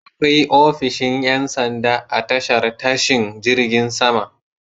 Akwai ofishin ƴansanda a tashar tashin jirgin sama.